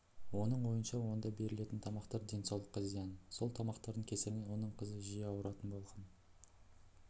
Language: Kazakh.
оның ойынша онда берілетін тамақтар денсаулыққа зиян сол тамақтардың кесірінен оның қызы жиі ауыратын болған